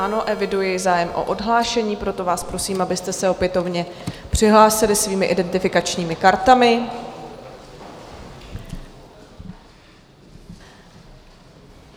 Ano, eviduji zájem o odhlášení, proto vás prosím, abyste se opětovně přihlásili svými identifikačními kartami.